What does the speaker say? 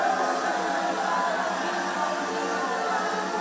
Qarabağ!